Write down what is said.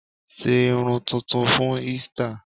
Sé irun tuntun fún Easter!